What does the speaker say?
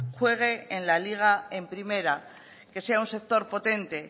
juegue en la liga en primera que sea un sector potente